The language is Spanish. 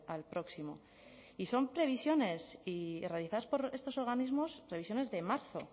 al próximo y son previsiones realizadas por estos organismos previsiones de marzo